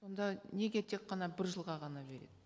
онда неге тек қана бір жылға ғана береді